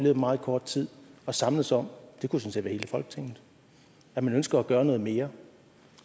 af meget kort tid at samles om og det kunne sådan hele folketinget at man ønsker at gøre noget mere